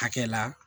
Hakɛ la